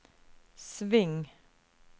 sving